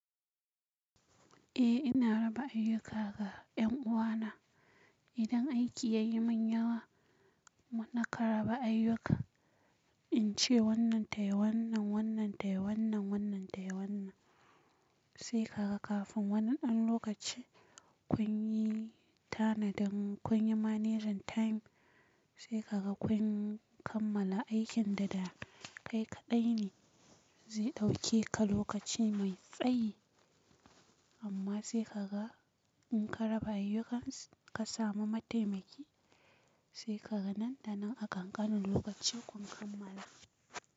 Eh ina raba ayyuka ga yan uwana. Idan aiki ya yi mun yawa, muna karaba ayyuka. In ce wannan tayi wannan, wannan tayi wannan, wannan tayi wannan. Sai ka ga kafin wannan ɗan lokaci kun yi tanadin, kun yi managing time, sai ka ga kun kammala aikin dada kai kaɗai ne zai ɗauke ka lokaci mai tsayi. Amma sai ka ga in ka raba ayyukan ka samu mataimaki, sai ka ga nan da nan a ƙan ƙanin lokaci kun kammala.